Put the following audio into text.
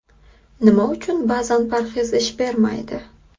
Nima uchun ba’zan parhez ish bermaydi?